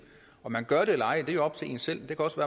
om man gør det eller ej er jo op til en selv det kan også